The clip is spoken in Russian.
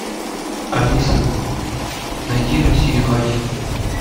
алиса найди россию один